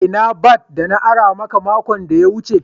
Ina bat da na ara makon da ya wuce.